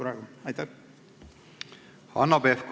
Hanno Pevkur, palun!